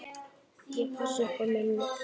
Ég passa upp á mömmu.